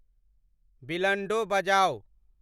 बिलंडों बजाउ ।